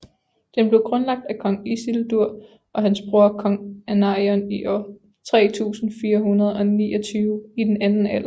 Den blev grundlagt af kong Isildur og hans bror kong Anarion i år 3429 i den Anden Alder